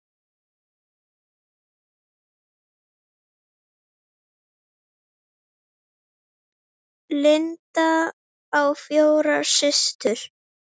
Linda á fjórar systur.